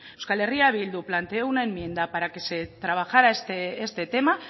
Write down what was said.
euskal herria bildu planteó una enmienda para que se trabajara este tema